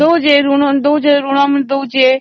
ଋଣ ମାନେ ବି ଦେଉଛି